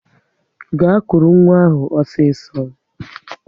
Gaa kụrụ nwa ahụ osiso!